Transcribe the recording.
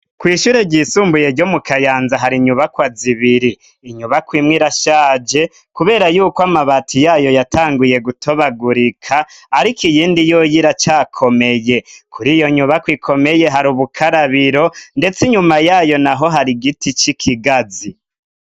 Kw' ishure ryisumbuye ryo mu Kayanza hari inyubakwa zibiri. Inyubakwa imwe irashaje kubera yuko amabati yayo yatanguye gutobagurika, ariko iyindi yoyo iracakomeye. Kuri iyo nyubakwa ikomeye hari ubukarabiro, ndetse inyuma yayo naho hari igiti c'ikigazi.